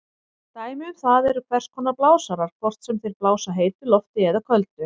Dæmi um það eru hvers konar blásarar, hvort sem þeir blása heitu lofti eða köldu.